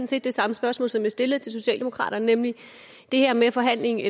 set det samme spørgsmål som jeg stillede til socialdemokratiet nemlig det her med forhandlingerne